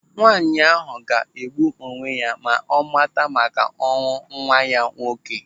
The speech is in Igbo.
Nwaanyi ahụ ọga egbu onwe ya ma ọ mata maka ọnwụ nwa ya nwoke?